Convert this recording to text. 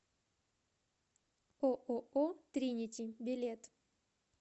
ооо тринити билет